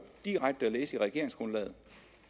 direkte at læse i regeringsgrundlaget